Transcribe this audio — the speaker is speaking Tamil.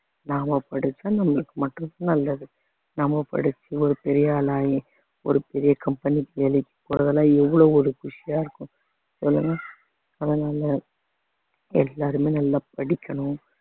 நாம படிச்சா நம்மளுக்கு மட்டும் நல்லது நம்ம படிச்சு ஒரு பெரிய ஆளாகி ஒரு பெரிய company க்கு வேலைக்கு போறதெல்லாம் எவ்வளவு ஒரு குஷியா இருக்கும் சொல்லுங்க அதனால எல்லாருமே நல்லா படிக்கணும்